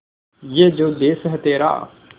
ये जो देस है तेरा